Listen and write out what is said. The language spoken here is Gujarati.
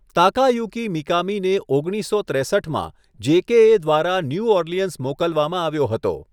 તાકાયુકી મિકામીને ઓગણીસસો ત્રેસઠમાં જેકેએ દ્વારા ન્યૂ ઓર્લિયન્સ મોકલવામાં આવ્યો હતો.